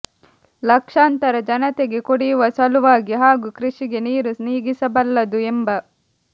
ಲಕ್ಷಾಂತರ ಜನತೆಗೆ ಕುಡಿಯುವ ಸಲುವಾಗಿ ಹಾಗೂ ಕೃಷಿಗೆ ನೀರು ನೀಗಿಸಬಲ್ಲದು ಎಂಬ